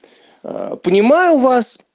понимаю вас